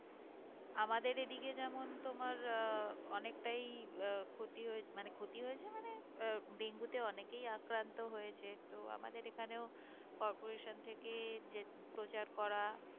আমাদের এদিকে যেমন তোমার আহ অনেকটাই আহ ক্ষতি হয়েছে মানে ক্ষতি হয়েছে মানে আহ ডেঙ্গু তে অনেকেই আক্রান্ত হয়েছে তো আমাদের এখানেও corporation থেকে যে প্রচার করা